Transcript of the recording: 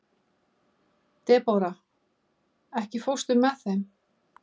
Debóra, ekki fórstu með þeim?